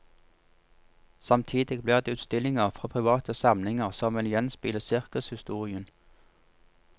Samtidig blir det utstillinger fra private samlinger som vil gjenspeile sirkushistorien.